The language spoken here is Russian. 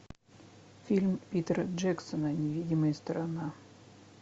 фильм питера джексона невидимая сторона